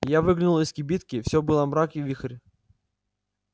я выглянул из кибитки всё было мрак и вихорь